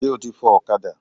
Ṣé o ti fọ ọ̀kadà?